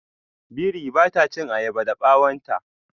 Biri ba ta chin ayaba da bawon ta.